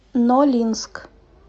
нолинск